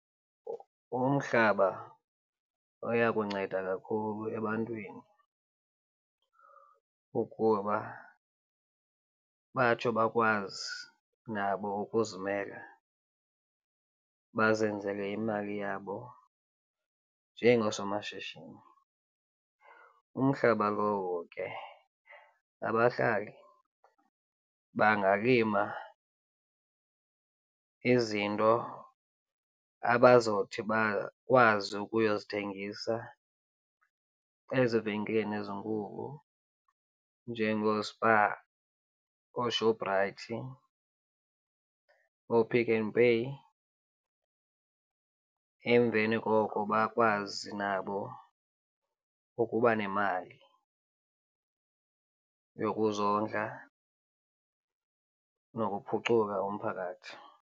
Umhlaba oya kunceda kakhulu ebantwini ukuba batsho bakwazi nabo ukuzimela, bazenzele imali yabo njengoosomashishini. Umhlaba lowo ke abahlali bangalima izinto abazothi bakwazi ukuyozithengisa ezivenkileni ezinkulu njengooSpar, ooShoprite, ooPick n Pay. Emveni koko bakwazi nabo ukuba nemali yokuzondla nokuphucula umphakathi.